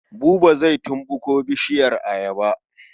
Buba zai tumɓuko bishiyar ayaba.